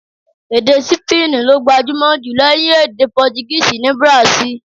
Èdè Sípéènì ló gbajúmò jù lẹ́yìn èdè Portuguese ní Brazil.